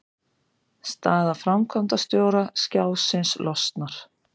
Staða framkvæmdastjóra Skjásins losnar